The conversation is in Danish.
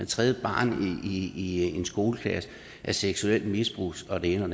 tredje barn i en skoleklasse er seksuelt misbrugt og det ene og